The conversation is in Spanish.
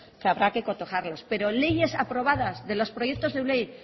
que habrá que cotejarlos pero leyes aprobadas de los proyectos de ley